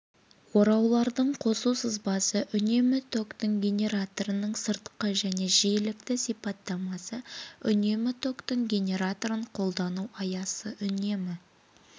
ораулардың қосу сызбасы үнемі токтың генераторының сыртқы және жиілікті сипаттамасы үнемі токтың генераторын қолдану аясы үнемі